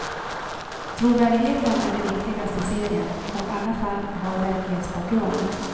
Trovärdigheten är det viktigaste i serien och alla fall har verklighetsbakgrund.